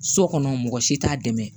So kɔnɔ mɔgɔ si t'a dɛmɛ